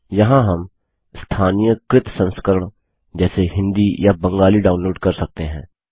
यहाँ हम स्थानीयकृत संस्करण जैसे हिंदी या बंगाली डाउनलोड कर सकते हैं